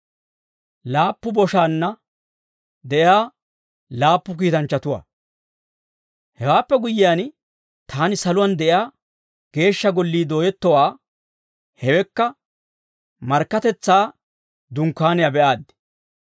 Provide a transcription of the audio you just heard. Hewaappe guyyiyaan, taani saluwaan de'iyaa Geeshsha Gollii dooyettowaa hewekka markkatetsaa dunkkaaniyaa be'aaddi.